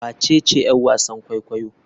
Wacece yar wasan kwaikwayo?